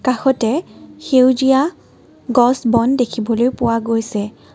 কাষতে সেউজীয়া গছ-বন দেখিবলৈ পোৱা গৈছে।